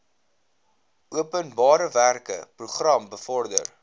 openbarewerke program bevorder